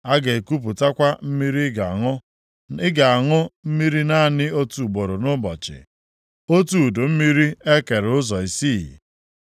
A ga-ekupụtakwa mmiri ị ga-aṅụ, ị ga-aṅụ mmiri naanị otu ugboro nʼụbọchị, otu udu mmiri e kere ụzọ isii. + 4:11 Nke a bụ otu ụzọ site nʼụzọ isii nke e kere otu lita mmiri.